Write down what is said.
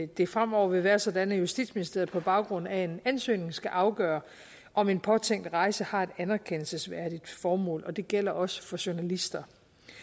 det fremover vil være sådan at justitsministeriet på baggrund af en ansøgning skal afgøre om en påtænkt rejse har et anerkendelsesværdigt formål og det gælder også for journalister